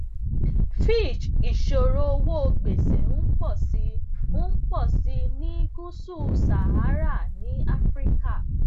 fitch ìṣòro owó gbèsè ń pò sí ń pò sí i ní gúúsù sahara ní áfíríkà